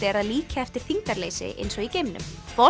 að líkja eftir þyngdarleysi eins og í geimnum